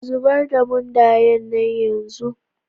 Zubar da mundaye na yanzu